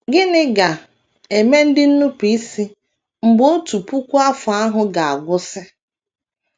Gịnị ga - eme ndị nnupụisi mgbe otu puku afọ ahụ ga - agwụsị?